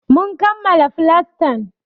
Mun kammala flastan.